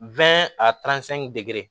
a degere